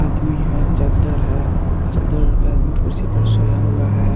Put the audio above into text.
आदमी है चद्दर है चद्दर ओड़ के आदमी कुर्सी पे सोया हुआ है।